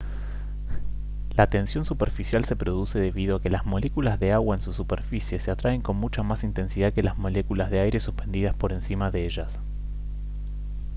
la tensión superficial se produce debido a que las moléculas de agua en su superficie se atraen con mucha más intensidad que las moléculas de aire suspendidas por encima de ellas